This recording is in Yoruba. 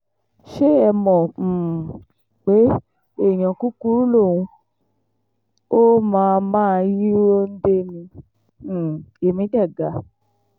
ṣé ẹ mọ̀ um pé èèyàn kúkúrú lòun ó máa máa yí ròǹdè ní um ẹ̀mí dé ga